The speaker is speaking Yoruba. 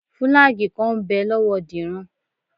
Fùlàgíì kan ń bẹ lọ́wọ́ Dìran